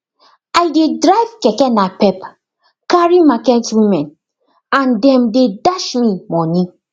i dey drive keke napep carry market women and them dey dash me money